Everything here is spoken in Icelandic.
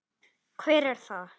Heimir Már: Hver er það?